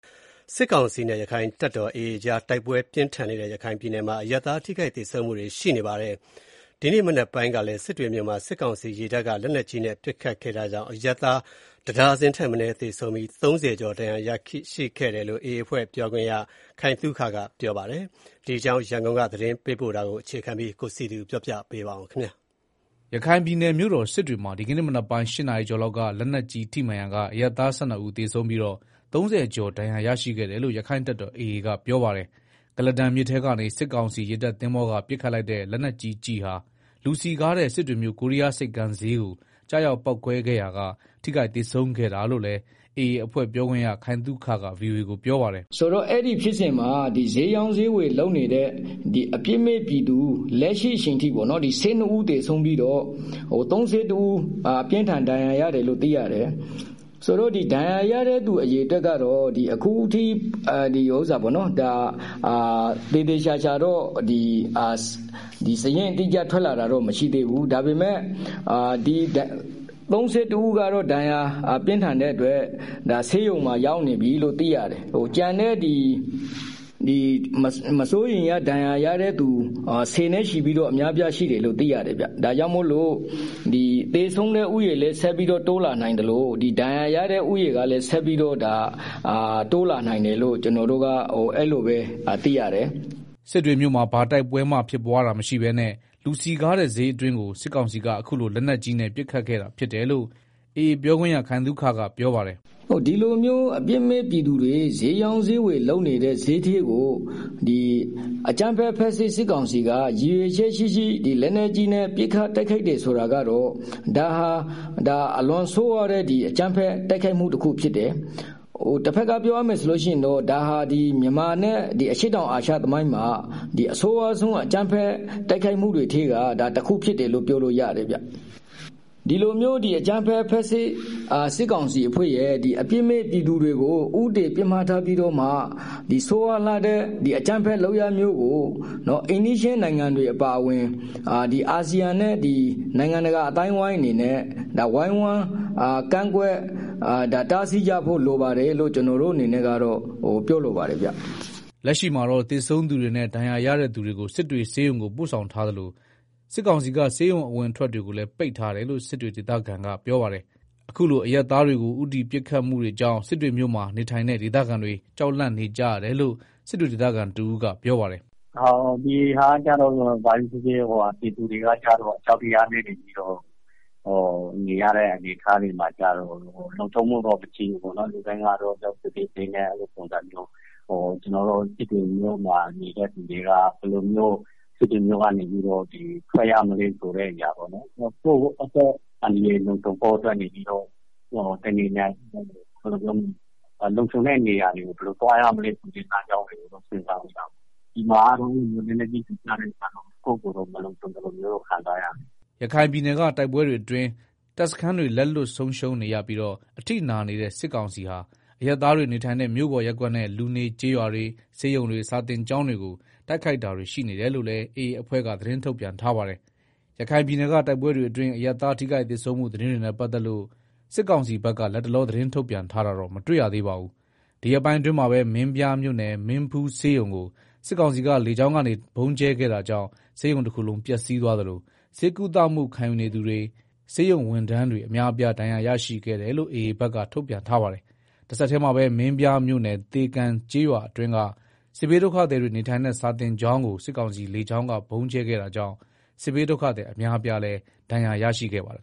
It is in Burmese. စစ်ကောင်စီနဲ့ ရက္ခိုင့်တပ်တော် AA ကြား တိုက်ပွဲပြင်းထန်နေတဲ့ ရခိုင်ပြည်နယ်မှာ အရပ်သား ထိခိုက်သေဆုံးမှုတွေ ရှိနေပါတယ်။ ဒီကနေ့မနက်ပိုင်းကလည်း စစ်တွေမြို့မှာ စစ်ကောင်စီရေတပ်က လက်နက်ကြီးနဲ့ ပစ်ခတ်ခဲ့တာကြောင့် အရပ်သား ၁ ဒါဇင်ထက်မနည်း သေဆုံးပြီး ၃ဝကျော်ဒဏ်ရာရရှိခဲ့တယ်လို့ AA အဖွဲ့ပြောခွင့်ရ ခိုင်သုခက ဗွီအိုအေကိုပြောပါတယ်။ ဒီအကြောင်း ရန်ကုန်က သတင်းပေးပို့ထားတာကို အခြေခံပြီး ကိုစံကျော် တင်ပြထားပါတယ်။ ရခိုင်ပြည်နယ် မြို့တော်စစ်တွေမှာ ဒီကနေ့မနက်ပိုင်း ၈နာရီကျော်လောက်က လက်နက်ကြီး ထိမှန်ရာက အရပ်သား ၁၂ ဦးသေဆုံးပြီး ၃ဝ ကျော်ဒဏ်ရာ ရရှိခဲ့တယ်လို့ ရက္ခိုင့်တပ်တော် AA ကပြောပါတယ်။ ကုလားတန်မြစ်ထဲကနေ စစ်ကောင်စီ ရေတပ်သင်္ဘောက ပစ်ခတ်လိုက်တဲ့ လက်နက်ကြီးကျည်ဟာ လူစည်ကားတဲ့ စစ်တွေမြို့ ကိုးရီးယားဆိပ်ကမ်းဈေးကို ကျရောက်ပေါက်ကွဲခဲ့ရာက ထိခိုက်သေဆုံးရတာလို့လည်း AA အဖွဲ့ ပြောခွင့်ရ ခိုင်သုခက ဗွီအိုအေကို ပြောပါတယ်။ “ အဲဒီဖြစ်စဉ်မှာ ဈေးရောင်းဈေးဝယ်လုပ်နေတဲ့ လက်ရှိအချိန်အထိ အပြစ်မဲ့ပြည်သူ ၁၂ဦး သေဆုံးပြီးတော့ ၃၁ဦး အပြင်းအထန်ဒဏ်ရာရတယ်လို့ သိရတယ်၊ ဒဏ်ရာရတဲ့ သူတွေက တော့ အခုထိ သေသေချာချာတော့ စာရင်းအတိအကျထွက် လာတာမရှိသေးဘူး၊ ဒါပေမယ့် ၃၁ဦးကတော့ ဒဏ်ရာ ပြင်းထန်တဲ့အတွက် ဆေးရုံမှာ ရောက်နေပြီလို့ သိရတယ်။ နောက်ထပ် မစိုးရိမ်ရ ဒဏ်ရာရတဲ့သူဆယ်နဲ့ချီရှိပြီးတော့ရှိသေးတယ်လို့ သိရတယ်ဗျ။ ဒါ့ကြောင့် သေဆုံးတဲ့ ဦးရေလည်း ဆက်ပြီးတော့ တိုးလာနိုင်သလို ဒဏ်ရာရတဲ့ ဦးရေကလည်း ဆက်ပြီးတော့ တိုးလာနိုင်တယ်လို့ သိရတယ်။” စစ်တွေမြို့မှာ ဘာတိုက်ပွဲမှဖြစ်ပွားတာမရှိပဲနဲ့ လူစည်ကားတဲ့ဈေးအတွင်းကို စစ်ကောင်စီက အခုလို လက်နက်ကြီးနဲ့ ပစ်ခတ်ခဲ့တာဖြစ်တယ်လို့ AA ပြောခွင့်ရ ခိုင်သုခက ပြောပါတယ်။ “ ဒီလူမျိုး အပြစ်မဲ့ပြည်သူတွေ ဈေးရောင်းဈေးဝယ်လုပ်တဲ့ ဈေးထဲကို လက်နက်ကြီးနဲ့ ပစ်ခတ်တယ်ဆိုတာကတော့ အလွန်ဆိုးရွားတဲ့ အကြမ်းဖက် တိုက်ခိုက်မှု တခုဖြစ်တယ်၊ တဘက်ကပြောရမယ်ဆိုလို့ရှိရင်တော့ ဒါဟာ မြန်မာနဲ့ အရှေ့တောင် အာရှသမိုင်းမှာ အဆိုးရွားဆုံးအကြမ်းဖက် တိုက်ခိုက်မှုတွေထဲက တခုဖြစ်တယ်လို့ ပြောလို့ရတယ်။ ဒီလိုမျိုး အကြမ်းဖက် ဖက်ဆစ်စစ်ကောင်စီအဖွဲ့ရဲ့ အပြစ်မဲ့ပြည်သူတွေကို ဦးတည် ပစ်မှတ်ထားပြီးတော့ ဆိုးရွားလှတဲ့ အကြမ်းဖက်လုပ်ရပ်မျိုးကို အိမ်နီးချင်း နိုင်ငံတွေ အပါအဝင် အာဆီယံနဲ့ နိုင်ငံတကာ အသိုင်းအဝိုင်းတွေ အနေနဲ့ ဝိုင်းဝန်းကန့်ကွက် တားစီးကြဖို့ လိုတယ်လို့ ကျနော်တို့ပြောချင်ပါတယ်။” လက်ရှိမှာတော့ သေဆုံးသူတွေနဲ့ ဒဏ်ရာရတဲ့သူတွေကို စစ်တွေဆေးရုံကို ပို့ဆောင်ထားသလို စစ်ကောင်စီက ဆေးရုံအဝင်အထွက်တွေကိုလည်း ပိတ်ထားတယ်လို့ စစ်တွေဒေသခံ တွေက ပြောပါတယ်။ အခုလို အရပ်သားတွေကို ဦးတည်ပစ်ခတ်မှုတွေကြောင့် စစ်တွေမြို့မှာ နေထိုင်တဲ့ ဒေသခံတွေ ကြောက်လန့်နေကြရတယ်လို့ စစ်တွေဒေသခံတဦးကပြောပါတယ်။ “ ပြည်သူတွေက အကြောက်တရားနဲ့ နေရတဲ့ အနေအထားမှာကျတော့ လုံခြုံမှုတော့ မရှိဘူး ပေါ့နော်၊ လူတိုင်းကတော့ ကြောက်စိတ်တွေနဲ့ ကျနော်တို့ စစ်တွေမှာနေတဲ့သူတွေက ဘယ်လိုမျိုးစစ်တွေမြို့ကထွက်ရမလဲ။ ကိုယ့်အသက်အန္တရာယ်လုံခြုံဖို့အတွက် လုံခြုံတဲ့နေရာ ကို ဘယ်လိုသွားရမလဲ စဉ်းစားနေကြတာပေါ့၊ အခုလို လက်နက်ကြီးကျည် ကျတော့ ကိုယ့်ကိုကိုယ်မလုံခြုံဘူးလို့ခံစားရတယ်။” ရခိုင်စစ်ပြည်နယ်က တိုက်ပွဲတွေအတွင်း တပ်စခန်းတွေ လက်လွတ်ဆုံးရှုံးနေပြီး အထိနာနေတဲ့ စစ်ကောင်စီဟာ အရပ်သားတွေနေထိုင်တဲ့ မြို့ပေါ်ရပ်ကွက်နဲ့ လူနေကျေးရွာတွေ၊ ဆေးရုံတွေ၊ စာသင်ကျောင်းတွေကို တိုက်ခိုက်တာတွေ ရှိနေတယ်လို့လည်း AA အဖွဲ့က သတင်းထုတ်ပြန်ထားပါတယ်။ စစ်ကောင်စီကတော့ စစ်တွေမြို့၊ မြို့မဈေးမှာ အရပ်သားတွေ သေကျေထိခိုက်တဲ့ ပစ်ခတ်မှုဟာ AA အဖွဲ့ရဲ့ လက်ချက်အဖြစ် ဒီကနေ့ပဲ သတင်းထုတ်ပြန်ထားပါတယ်။ ဒီရက်ပိုင်းအတွင်းမှာပဲ မင်းပြားမြို့နယ် မင်းဖူးဆေးရုံကို စစ်ကောင်စီလေကြောင်းက ဗုံးကြဲခဲ့တာကြောင့် ဆေးရုံတခုလုံး ပျက်စီးသွားသလို ဆေးကုသခံယူနေသူတွေ ဆေးရုံဝန်ထမ်းတွေအများအပြားဒဏ်ရာရရှိခဲ့တယ်လို့ AAဘက်က ထုတ်ပြန်ထားပါတယ်။ တဆက်တည်းမှာပဲ မင်းပြားမြို့နယ်သေကံကျေးရွာအတွင်းက စစ်ဘေးဒုက္ခသည်တွေ နေထိုင်တဲ့ စာသင်ကျောင်းကို စစ်ကောင်စီ လေကြောင်းက ဗုံးကြဲခဲ့တာကြောင့် စစ်ဘေးဒုက္ခသည် အများအပြားလည်း ဒဏ်ရာရခဲ့ပါတယ်